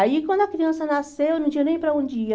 Aí, quando a criança nasceu, não tinha nem para onde ir.